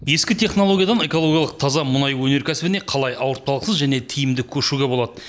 ескі технологиядан экологиялық таза мұнай өнеркәсібіне қалай ауыртпалықсыз және тиімді көшуге болады